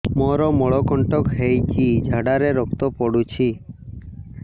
ମୋରୋ ମଳକଣ୍ଟକ ହେଇଚି ଝାଡ଼ାରେ ରକ୍ତ ପଡୁଛି